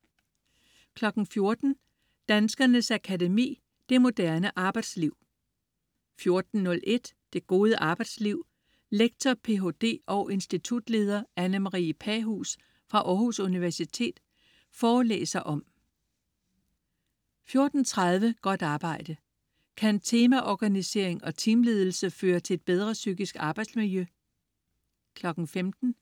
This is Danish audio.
14.00 Danskernes Akademi: Det moderne arbejdsliv 14.01 Det gode arbejdsliv. Lektor, ph.d. og institutleder Anne Marie Pahuus fra Aarhus Universitet forelæser om 14.30 Godt arbejde. Kan teamorganisering og teamledelse føre til et bedre psykisk arbejdsmiljø? 15.00